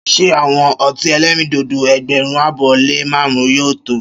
Ṣé àwọn ọtí elerindodo ẹgbẹrun abọ le márún yóò to?